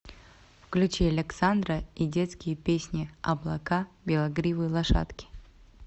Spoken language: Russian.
включи александра и детские песни облака белогривые лошадки